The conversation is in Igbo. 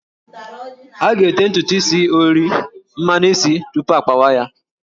A ga-ete ntutu is ori/mmanụ isi tupu akpawa ya